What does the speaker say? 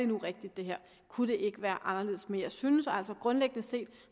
nu rigtigt kunne det ikke være anderledes men jeg synes altså grundlæggende set